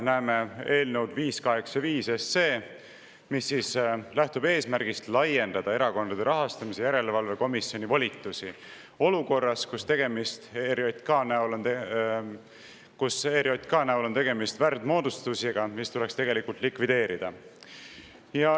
Näeme eelnõu 585, mis lähtub eesmärgist laiendada Erakondade Rahastamise Järelevalve Komisjoni volitusi olukorras, kus ERJK näol on tegemist värdmoodustisega, mis tuleks tegelikult likvideerida.